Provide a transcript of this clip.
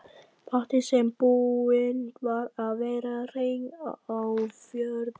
Baddi sem búinn var að vera hreinn á fjórða ár.